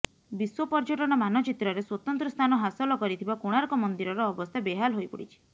ବିଶ୍ୱ ପର୍ୟ୍ୟଟନ ମାନଚିତ୍ରରେ ସ୍ୱତନ୍ତ୍ର ସ୍ଥାନ ହାସଲ କରିଥିବା କୋଣାର୍କ ମନ୍ଦିରର ଅବସ୍ଥା ବେହାଲ ହୋଇପଡିଛି